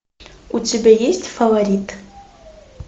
у тебя есть фаворит